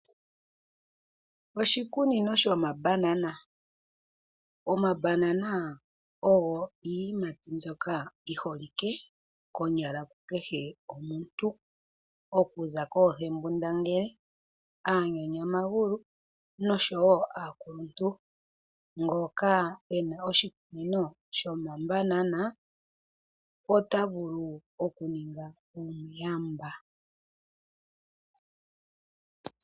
Oshikunino shomaBanana , omaBanana ogo iiyimati ndyoka yiholike kukehe omuntu, okuza koohembundangele, aanyanyamagulu noshowo aakuluntu. Ngoka ena oshikunino shomaBanana ota vulu oku ninga omuyamba.